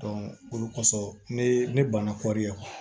olu kosɔn ne banna kɔri